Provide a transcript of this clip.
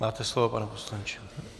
Máte slovo, pane poslanče.